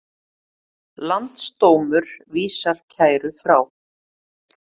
Landsdómur vísar kæru frá